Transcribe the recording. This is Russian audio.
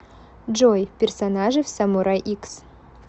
джой персонажи в самурай икс